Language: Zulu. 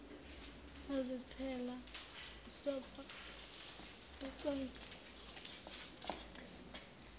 wazithela msobho etswayini